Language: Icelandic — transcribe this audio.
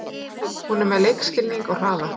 Hún er með leikskilning og hraða.